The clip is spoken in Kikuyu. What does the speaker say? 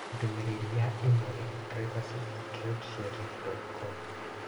ndũmĩrĩri ya imĩrũ, privacy@redsheriff.com